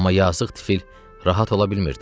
Amma yazıq tifil rahat ola bilmirdi.